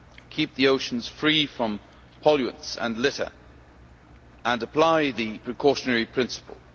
keep the oceans free from pollutants and litter and apply the precautionary principle.